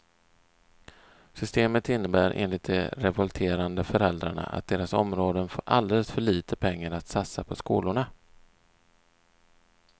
Systemet innebär enligt de revolterande föräldrarna att deras områden får alldeles för lite pengar att satsa på skolorna.